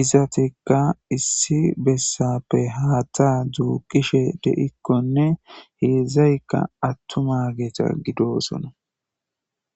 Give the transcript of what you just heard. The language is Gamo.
izatika issi besappe haththa duqishe deikkonne heedzdzayika atumma gete gidosona.